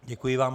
Děkuji vám.